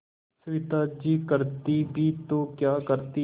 सविता जी करती भी तो क्या करती